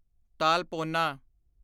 ਤਾਲਪੋਨਾ